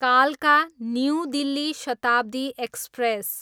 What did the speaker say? कालका, New Delhi Shatabdi express